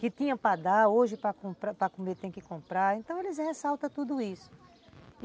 que tinham para dar, hoje para comer tem que comprar, então eles ressaltam tudo isso.